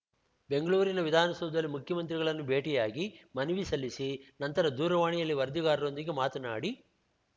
ಬೆಂಗಳೂರಿನ ವಿಧಾನಸೌಧದಲ್ಲಿ ಮುಖ್ಯಮಂತ್ರಿಗಳನ್ನು ಭೇಟಿಯಾಗಿ ಮನವಿ ಸಲ್ಲಿಸಿ ನಂತರ ದೂರವಾಣಿಯಲ್ಲಿ ವರದಿಗಾರರೊಂದಿಗೆ ಮಾತನಾಡಿ